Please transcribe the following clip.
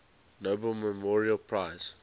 nobel memorial prize